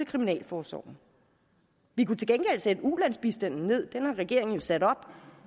kriminalforsorgen vi kunne til gengæld sætte ulandsbistanden ned den har regeringen jo sat op